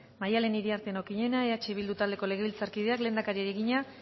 maddalen iriarte okiñena eh bildu taldeko legebiltzarkideak lehendakariari egina